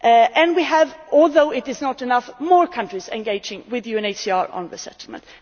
And we have, although it is not enough, more countries engaging with UNHCR on resettlement.